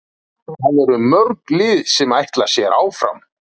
Það eru mörg lið sem ætla sér áfram.